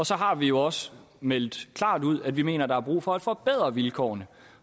så har vi jo også meldt klart ud at vi mener at der er brug for at forbedre vilkårene